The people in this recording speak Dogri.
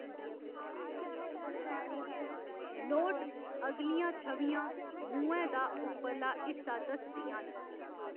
नोट अगलियां छवियां मूहैं दा उप्परला हिस्सा दसदियां न।